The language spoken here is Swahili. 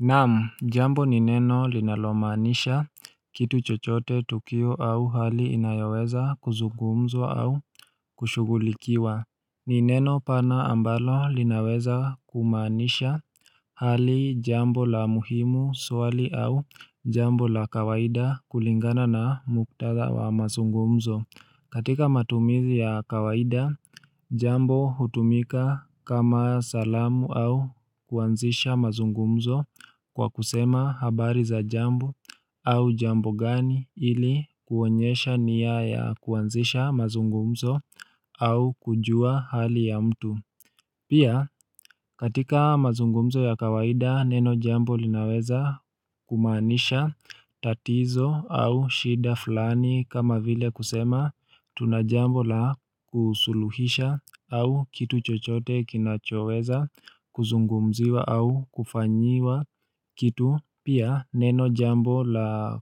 Naam, jambo nineno linalomanisha kitu chochote tukio au hali inayaweza kuzungumzo au kushugulikiwa Nineno pana ambalo linaweza kumanisha hali jambo la muhimu swali au jambo la kawaida kulingana na muktada wa mazungumzo katika matumizi ya kawaida, jambo hutumika kama salamu au kuanzisha mazungumzo kwa kusema habari za jambo au jambo gani ili kuonyesha niya ya kuanzisha mazungumzo au kujua hali ya mtu. Pia katika mazungumzo ya kawaida neno jambo linaweza kumanisha tatizo au shida flani kama vile kusema tunajambo la kusuluhisha au kitu chochote kinachoweza kuzungumziwa au kufanyiwa kitu. Kitu pia neno jambo la